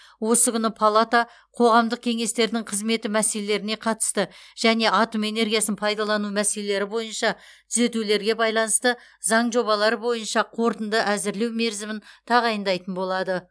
осы күні палата қоғамдық кеңестердің қызметі мәселелеріне қатысты және атом энергиясын пайдалану мәселелері бойынша түзетулерге байланысты заң жобалары бойынша қорытынды әзірлеу мерзімін тағайындайтын болады